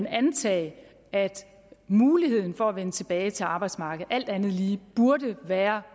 antage at muligheden for at vende tilbage til arbejdsmarkedet alt andet lige burde være